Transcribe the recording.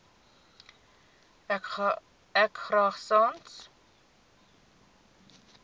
ek graag sans